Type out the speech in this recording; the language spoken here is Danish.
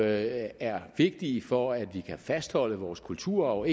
er vigtige for at vi kan fastholde vores kultur og